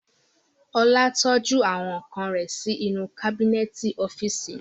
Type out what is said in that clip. Ọlá tọ́jú àwọn ǹkan rẹ̀ sí inú kábínẹ̀tì ọ́físì naa